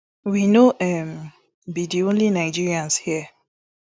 we no um be di only nigerians here